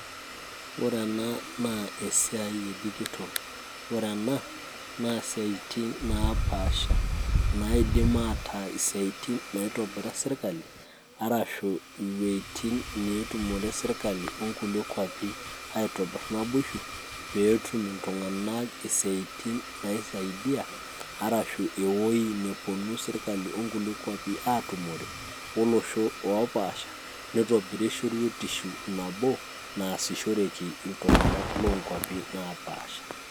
Ore ena naa esiai e digital ore ena naa siaitin napaasha naidim ataa isiaitin naitobira sirkali arashu iwuejitin netumore sirkali onkulie kuapi aitobirr naboisho peetum iltung'anak eseiten naisaidia arashu ewueji neponu sirkali onkulie kuapi atumore olosho opasha nitobiri shoruetisho nabo nasishoreki iltung'anak lonkuapi napasha.